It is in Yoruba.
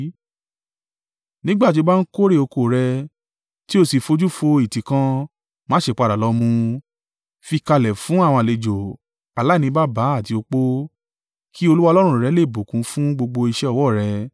Nígbà tí o bá ń kórè oko rẹ tí o sì fojú fo ìtí kan, má ṣe padà lọ mú u. Fi í kalẹ̀ fún àwọn àlejò, aláìní baba àti opó, kí Olúwa Ọlọ́run rẹ lè bùkún fún gbogbo iṣẹ́ ọwọ́ ọ̀ rẹ.